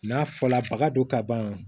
N'a fɔla baga don ka ban